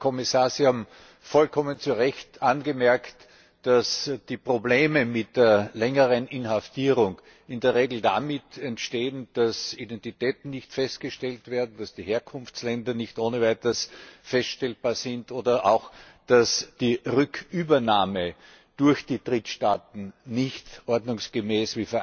Herr Kommissar, Sie haben vollkommen zu Recht angemerkt, dass die Probleme mit längerer Inhaftierung in der Regel dadurch entstehen, dass Identitäten nicht festgestellt werden, dass die Herkunftsländer nicht ohne weiteres feststellbar sind, oder auch, dass die Rückübernahme durch die Drittstaaten nicht ordnungsgemäß